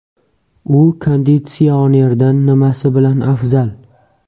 U konditsionerdan nimasi bilan afzal?